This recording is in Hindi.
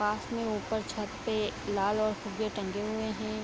पास में उपर छत पे लाल और फुग्गे टंगे हुए है।